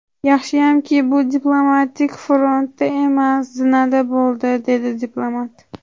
Yaxshiyamki bu diplomatik frontda emas, zinada bo‘ldi”, dedi diplomat.